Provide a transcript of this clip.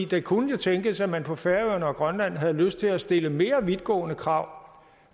det kunne jo tænkes at man på færøerne og i grønland havde lyst til at stille mere vidtgående krav